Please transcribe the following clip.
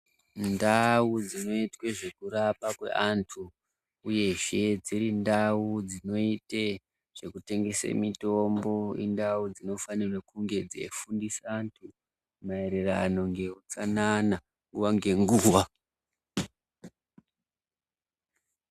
Ndau dzinoitwe zvekurapa kweantu uyezve dzirindau dzinoite zvekutengese mitombo indau dzinofanirwe kunge dzeifundisa antu maererano ngeutsanana nguva ngenguva.